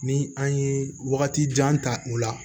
Ni an ye wagati jan ta u la